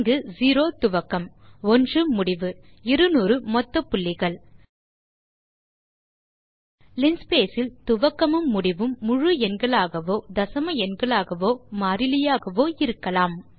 இங்கு 0 துவக்கம் 1 முடிவு 200 மொத்த புள்ளிகள் லின்ஸ்பேஸ் இல் துவக்கமும் முடிவும் முழு எண்களாகவோ தசம எண்களாகவோ மாறிலியாகவோ இருக்கலாம்